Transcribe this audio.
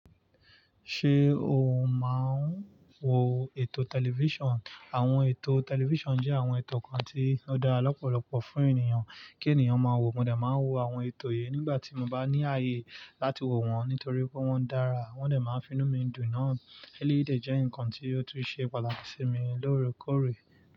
Ṣé o máa ń wo ètò tẹlifíṣàn? Àwọn ètò tẹlifíṣàn jẹ́ àwọn ètò kan tí ó dára lọ́pọ̀lọpọ̀ fún ènìyàn kí ènìyàn máa wò, mo dà máa ń wo àwọn ètò yìí nígbà tí mo bá ní ààyè láti wò wọ́n, nítorí pé wọ́n dára. Wọ́n de máa ń fi inú mi dùn náà. Eléyii je nǹkan tí ó tún ṣe pàtàkì sí mi lóorekóòrè.